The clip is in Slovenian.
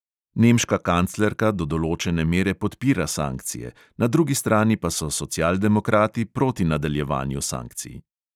Nemška kanclerka do določene mere podpira sankcije, na drugi strani pa so socialdemokrati proti nadaljevanju sankcij.